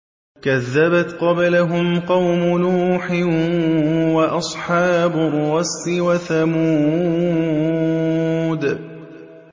كَذَّبَتْ قَبْلَهُمْ قَوْمُ نُوحٍ وَأَصْحَابُ الرَّسِّ وَثَمُودُ